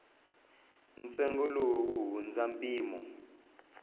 ntsengo lowu wu hundza mpimo